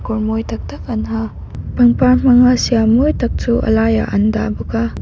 kawi mawi tak tak an ha pangpar hmanga siam mawi tak chu a laiah an dah bawk a.